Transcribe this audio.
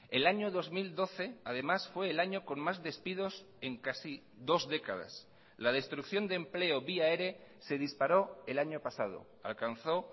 el año dos mil doce además fue el año con más despidos en casi dos décadas la destrucción de empleo vía ere se disparó el año pasado alcanzó